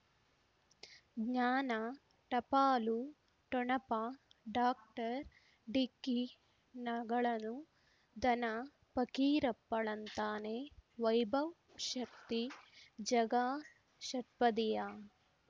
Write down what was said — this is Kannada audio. ಜ್ಞಾನ ಟಪಾಲು ಠೊಣಪ ಡಾಕ್ಟರ್ ಢಿಕ್ಕಿ ಣಗಳನು ಧನ ಫಕೀರಪ್ಪ ಳಂತಾನೆ ವೈಭವ್ ಶಕ್ತಿ ಝಗಾ ಷಟ್ಪದಿಯ